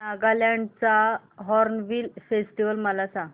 नागालँड चा hornbill festival मला सांग